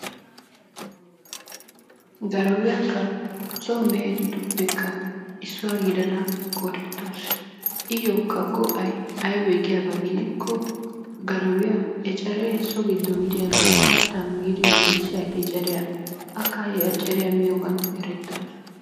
Garawiyakka so mehetu giddoppe issuwa gidada qoodettawusu. Iyyokka go'ay aybee giyaba keena gidikko garawiya eceree so giddon diyagaa, kattaa miidi wurssiyagaa akka he eceriya miyogan erettawusu.